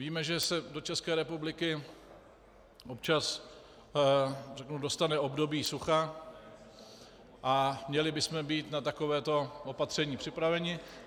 Víme, že se do České republiky občas dostane období sucha, a měli bychom být na takovéto opatření připraveni.